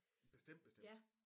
Bestemt bestemt